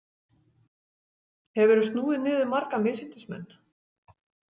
Hefur þú snúið niður marga misyndismenn?